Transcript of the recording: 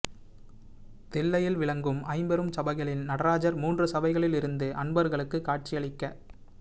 தில்லையில் விளங்கும் ஐம்பெருஞ்சபைகளில் நடராஜர் மூன்று சபைகளில் இருந்து அன்பர்களுக்குக் காட்சியளிக்